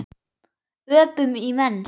Öpum í menn.